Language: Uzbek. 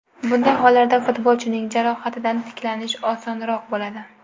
Bunday hollarda futbolchining jarohatdan tiklanishi osonroq bo‘ladi.